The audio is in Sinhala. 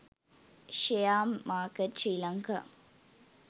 share market sri lanka